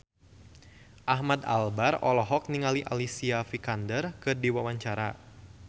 Ahmad Albar olohok ningali Alicia Vikander keur diwawancara